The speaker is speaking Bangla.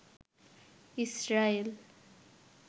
ইসরায়েল